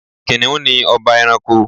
Kìnìún ni ọba ẹranko.